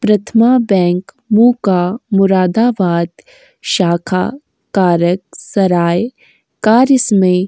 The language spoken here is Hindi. प्रथमा बैंक मुका मुरादाबाद शाखा- कारक सराय कार्य इसमें --